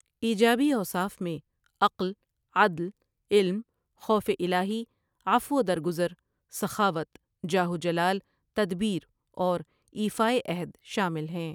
ایجابی اوصاف میں عقل، عدل، علم، خوف الہٰی، عفو و درگزر، سخاوت، جاہ و جلال، تدبیر اور ایفائے عہد شامل ہیں۔